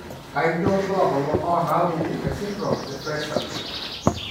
Kainyio irbulabul onaapuku esindirom eFraser?